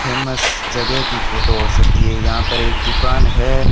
Famous जगह की photo हो सकती है यहां पर एक दुकान है।